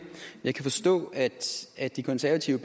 jeg kan forstå at at de konservative